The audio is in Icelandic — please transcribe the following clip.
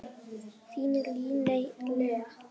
Þín Líney Lea.